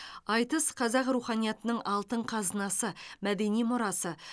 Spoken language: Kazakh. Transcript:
айтыс қазақ руханиятының алтын қазынасы мәдени мұрасы